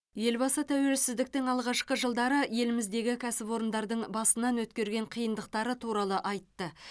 елбасы тәуелсіздіктің алғашқы жылдары еліміздегі кәсіпорындардың басынан өткерген қиындықтары туралы айтты